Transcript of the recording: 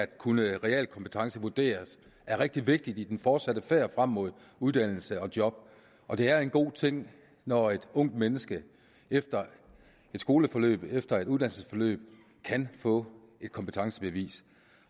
kunne realkompetencevurderes er rigtig vigtigt i den fortsatte færd frem mod uddannelse og job og det er en god ting når et ungt menneske efter et skoleforløb efter et uddannelsesforløb kan få et kompetencebevis